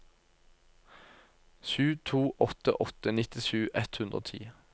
sju to åtte åtte nittisju ett hundre og ti